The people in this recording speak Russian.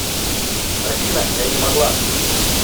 афина я не могла